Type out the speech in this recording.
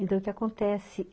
Então, o que acontece?